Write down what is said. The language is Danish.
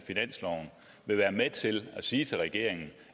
finansloven vil være med til at sige til regeringen